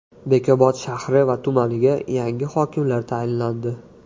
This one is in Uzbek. Bekobod shahri va tumaniga yangi hokimlar tayinlandi.